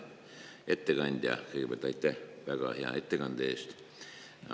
Hea ettekandja, kõigepealt aitäh väga hea ettekande eest!